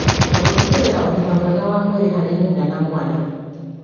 na gũtigĩrĩra ũgima mwega wa mwĩrĩ harĩ nyina na mwana